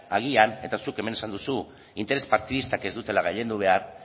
agian eta zuk hemen esan duzu interes partidistak ez dutela gailendu behar